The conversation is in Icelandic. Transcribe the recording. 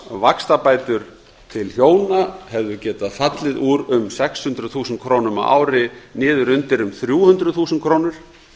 hámarksvaxtabætur til hjóna hefðu getað fallið úr um sex hundruð þúsund krónur á ári niður undir um þrjú hundruð þúsund krónur